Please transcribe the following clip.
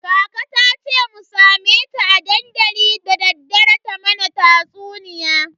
Kaka tace mu same ta a dandali dadaddare ta mana tatsuniya.